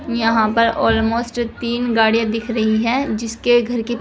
यहां पर ऑलमोस्ट तीन गाड़िया दिख रही है जिसके घर के--